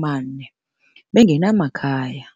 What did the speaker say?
000 bengenamakhaya.